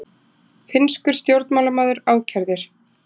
Finnskur stjórnmálamaður ákærður